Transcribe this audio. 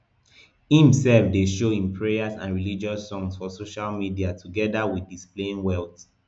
im sef dey show im prayers and religious songs for social media togeda wit displaying wealth